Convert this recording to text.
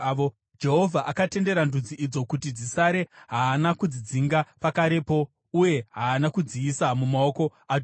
Jehovha akatendera ndudzi idzo kuti dzisare; haana kudzidzinga pakarepo uye haana kudziisa mumaoko aJoshua.